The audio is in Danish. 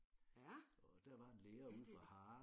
Ja ja det det